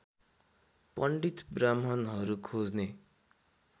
पण्डित ब्राह्मणहरू खोज्ने